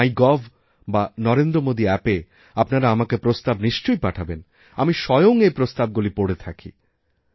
মাই gov অথবা Narendra Modi App এআপনারা আমাকে প্রস্তাব নিশ্চয় পাঠাবেন আমি স্বয়ং এই প্রস্তাবগুলি পড়ে থাকি